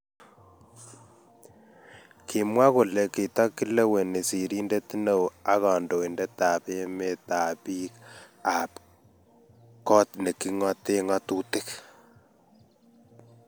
Kimwa kole kitakileweni sirindet neo ak kandoindet ab emet ak bik ab kot vhe king'ote ngatutik